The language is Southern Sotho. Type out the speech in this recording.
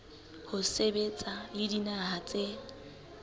ho sebetsa le dinaha tse